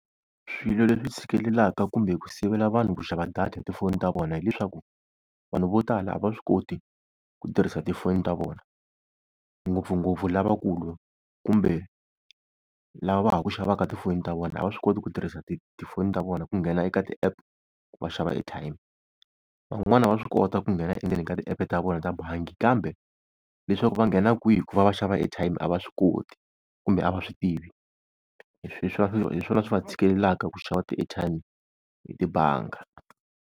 Swilo leswi tshikelelaka kumbe ku sivela vanhu ku xava data hi tifoni ta vona hi leswaku, vanhu vo tala a va swi koti ku tirhisa tifoni ta vona, ngopfungopfu lavakulu kumbe lava va ha ku xavaka tifoni ta vona a va swi koti ku tirhisa ti tifoni ta vona ku nghena eka ti-app va xava airtime. Van'wani va swi kota ku nghena endzeni ka tiepe ta vona ta bangi, kambe leswaku va nghena kwihi ku va va xava airtime a va swi koti kumbe a va swi tivi, hi hi swona swi va tshikeleleka ku xava ti-airtime hi tibangi.